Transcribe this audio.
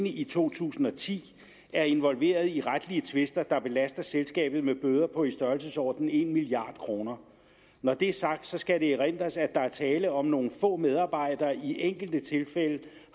i to tusind og ti er involveret i retlige tvister der belaster selskabet med bøder på i størrelsesordenen en milliard kroner når det er sagt skal det erindres at der er tale om at nogle få medarbejdere i enkelte tilfælde